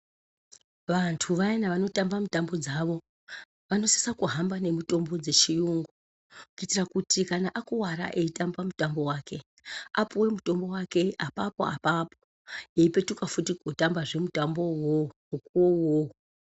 Vantu vayana vanotamba mutambo dzavo vanosisa kuhamba nemitombo dzeshe kuitira kuti kana akuwara eitamba mutambo wake apuwe mutombo wake apapo apapo eipetuka futi kootambazve mutambo wo iwowo.